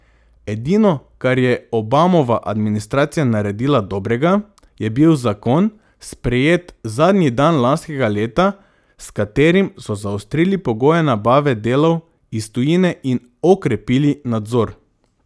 Edino, kar je Obamova administracija naredila dobrega, je bil zakon, sprejet zadnji dan lanskega leta, s katerim so zaostrili pogoje nabave delov iz tujine in okrepili nadzor.